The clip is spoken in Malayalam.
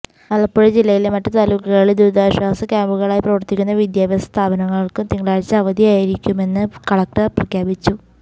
ആലപ്പുഴ ജില്ലയിലെ മറ്റ് താലൂക്കുകളില് ദുരിതാശ്വാസ ക്യാമ്പുകളായി പ്രവര്ത്തിക്കുന്ന വിദ്യാഭ്യാസ സ്ഥാപനങ്ങള്ക്കും തിങ്കളാഴ്ച അവധിയായിരിക്കുമെന്ന് കളക്റ്റർ പ്രഖ്യാപിച്ചു